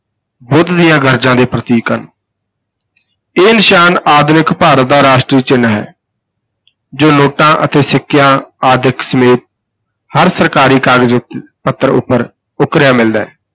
ਬੁੱਧ ਦੀਆਂ ਗਰਜਾਂ ਦੇ ਪ੍ਰਤੀਕ ਹਨ ਇਹ ਨਿਸ਼ਾਨ ਆਧੁਨਿਕ ਭਾਰਤ ਦਾ ਰਾਸ਼ਟਰੀ ਚਿੰਨ੍ਹ ਹੈ ਹੈ ਜੋ ਨੋਟਾਂ ਅਤੇ ਸਿੱਕਿਆਂ ਆਦਿਕ ਸਮੇਤ ਹਰ ਸਰਕਾਰੀ ਕਾਗਜ਼ ਪੱਤਰ ਉਪਰ ਉਕਰਿਆ ਮਿਲਦਾ ਹੈ।